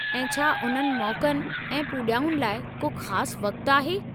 ऐं छा उन्हनि मौक़नि ऐं पूॼाउनि लाइ को ख़ासि वक़्तु आहे?